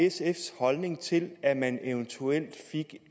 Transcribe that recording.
sfs holdning til at man eventuelt fik